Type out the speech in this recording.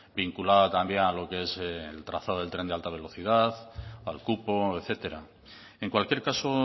vinculada también a lo que es el trazado del tren de alta velocidad al cupo etcétera en cualquier caso